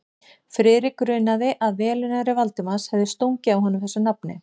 Friðrik grunaði, að velunnari Valdimars hefði stungið að honum þessu nafni.